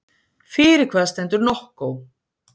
Fyrir hvað stendur NOCCO?